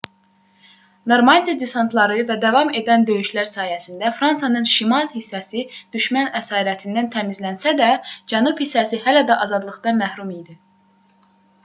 normandiya desantları və davam edən döyüşlər sayəsində fransanın şimal hissəsi düşmən əsarətindən təmizlənsə də cənub hissəsi hələ də azadlıqdan məhrum idi